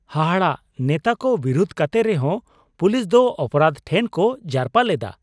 ᱦᱟᱦᱟᱲᱟ, ᱱᱮᱛᱟ ᱠᱚ ᱵᱤᱨᱩᱫ ᱠᱟᱛᱮ ᱨᱮᱦᱚᱸ ᱯᱩᱞᱤᱥ ᱫᱚ ᱚᱯᱨᱟᱫᱷ ᱴᱷᱮᱱ ᱠᱚ ᱡᱟᱨᱯᱟ ᱞᱮᱫᱟ ᱾